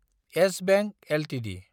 yes Bank Ltd